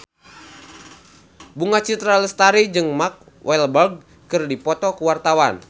Bunga Citra Lestari jeung Mark Walberg keur dipoto ku wartawan